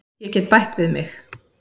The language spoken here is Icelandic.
Ég get bætt við mig.